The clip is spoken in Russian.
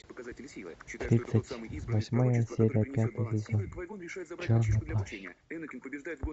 тридцать восьмая серия пятый сезон черный плащ